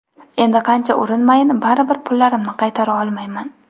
Endi qancha urinmayin, baribir pullarimni qaytara olmayman.